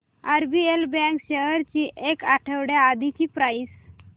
RBL bank shares ची एक आठवड्या आधीची प्राइस